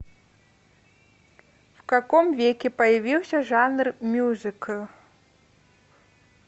в каком веке появился жанр мюзикл